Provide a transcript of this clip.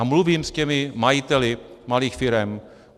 A mluvím s těmi majiteli malých firem.